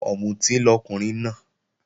Ọ̀mùtí lọkùnrin náà